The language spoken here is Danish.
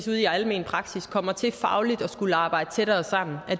almen praksis kommer til fagligt at skulle arbejde tættere sammen